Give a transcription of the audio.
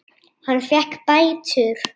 Hann fékk bætur.